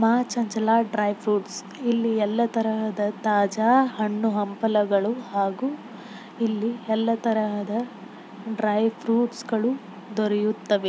ಮಾ ಚಂಚಲ dry fruits ಇಲ್ಲಿ ಎಲ್ಲ ತರಹದ ತಾಜಾ ಹಣ್ಣು ಹಂಪಲುಗಳು ಹಾಗು ಇಲ್ಲಿ ಎಲ್ಲ ತರಹದ ಡ್ರೈ ಫ್ರೂಟ್ಸ್ ಗಳು ದೊರೆಯುತ್ತವೆ.